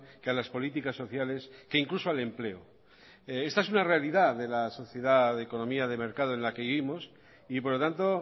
que a las políticas sociales que incluso al empleo esta es una realidad de la sociedad economía de mercado en la que vivimos y por lo tanto